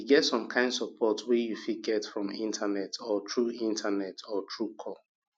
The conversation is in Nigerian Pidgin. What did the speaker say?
e get some kind support wey you fit get from internet or through internet or through call